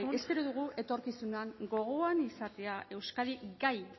espero dugu etorkizunean gogoan izatea euskadi gai